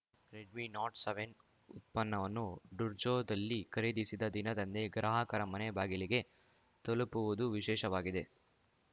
red me note seven ಉತ್ಪನ್ನವನ್ನು ಡುನ್ಝೋದಲ್ಲಿ ಖರೀದಿಸಿದ ದಿನದಂದೇ ಗ್ರಾಹಕರ ಮನೆ ಬಾಗಿಲಿಗೆ ತಲುಪುವುದು ವಿಶೇಷವಾಗಿದೆ